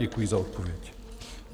Děkuji za odpověď.